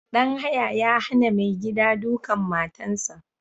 Ɗan haya ya hana mai gida duƙan matan sa